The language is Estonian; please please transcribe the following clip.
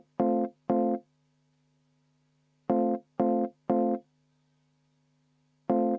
Aitäh!